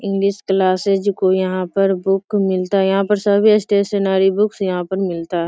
English classes को यहाँ पर बुक मिलता है यहाँ पर सभी स्टेशनरी बुक्स यहाँ पर मिलता है।